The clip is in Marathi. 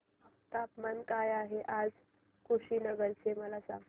तापमान काय आहे आज कुशीनगर चे मला सांगा